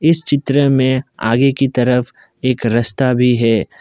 इस चित्र में आगे की तरफ एक रस्ता भी है।